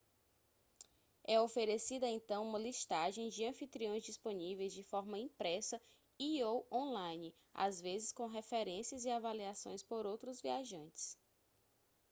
é oferecida então uma listagem de anfitriões disponíveis de forma impressa e/ou online às vezes com referências e avaliações por outros viajantes